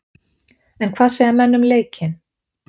En hvað segja menn um leikinn?